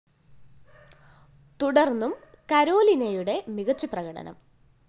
തുടര്‍ന്നും കരോലിനയുടെ മികച്ച പ്രകടനം